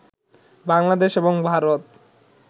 বাংলাদেশ এবং ভারত